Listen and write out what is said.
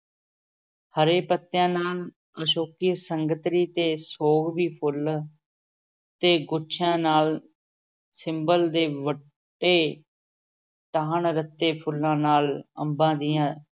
ਹਰੇ ਪੱਤਿਆਂ ਨਾਲ, ਅਸ਼ੋਕ ਸੰਗਤਰੀ ਤੇ ਸੋਗਵੀ ਫੁੱਲ ਤੇ ਗੁੱਛਿਆਂ ਨਾਲ, ਸਿੰਬਲ ਦੇ ਵੱਡੇ ਟਾਹਣ ਰੱਤੇ ਫੁੱਲਾਂ ਨਾਲ, ਅੰਬਾਂ ਦੀਆਂ